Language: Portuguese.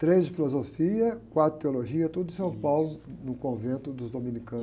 Três de filosofia, quatro de teologia, tudo em São Paulo, no convento dos dominicanos.